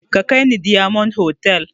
Ka kai ni diyamond hotal